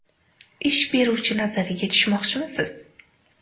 Ish beruvchi nazariga tushmoqchimisiz?